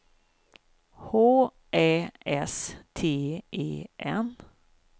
H Ä S T E N